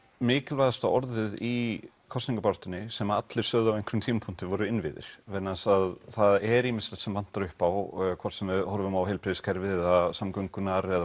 mikilvægasta orðið í kosningabaráttunni sem allir sögðu á einhverjum tímapunkti voru innviðir vegna þess að það er ýmislegt sem vantar upp á hvort sem við horfum á heilbrigðiskerfið eða samgöngur